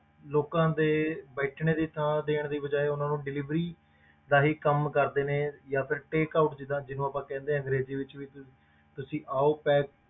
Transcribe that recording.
ਲੋਕਾਂ ਦੇ ਬੈਠਣੇ ਦੀ ਥਾਂ ਦੇਣ ਦੀ ਬਜਾਏ ਉਹਨਾਂ ਨੂੰ delivery ਦਾ ਹੀ ਕੰਮ ਕਰਦੇ ਨੇ ਜਾਂ ਫਿਰ take out ਜਿੱਦਾਂ ਜਿਹਨੂੰ ਆਪਾਂ ਕਹਿੰਦੇ ਹਾਂ ਅੰਗਰੇਜ਼ੀ ਵਿੱਚ ਵੀ ਤੁਸੀਂ ਤੁਸੀਂ ਆਓ